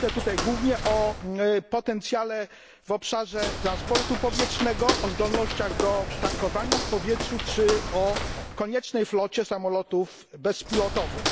Myślę tutaj głównie o potencjale w obszarze transportu powietrznego, o zdolnościach do tankowania w powietrzu czy o koniecznej flocie samolotów bezpilotowych.